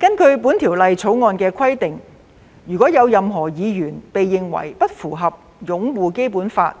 按照《條例草案》規定，任何議員如被認為不符合擁護《基本法》